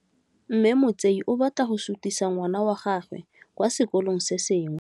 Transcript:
Mme Motsei o batla go sutisa ngwana wa gagwe kwa sekolong se sengwe.